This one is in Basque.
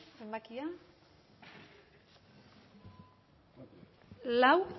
zenbakia lau